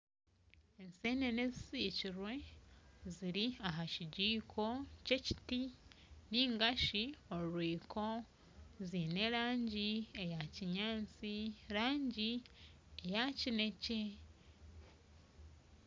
Ensenene ezisikirwe ziri aha kijiko ky'ekiti ningashi orwiko ziine erangi eyakinyatsi erangi eyakinekye